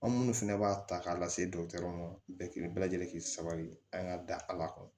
An minnu fɛnɛ b'a ta k'a lase dɔgɔtɔrɔw ma bɛɛ lajɛlen sabali an ka dala kɔnɔ